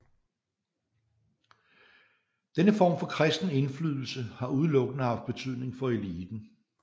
Denne form for kristen indflydelse har udelukkende haft betydning for eliten